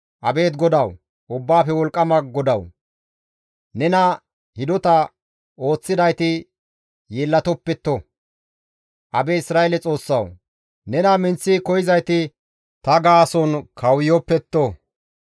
Abeet Godawu, Ubbaafe Wolqqama GODAWU! Nena hidota ooththidayti yeellatopetto; Abeet Isra7eele Xoossawu! Nena minththi koyzayti ta gaason kawuyofetto.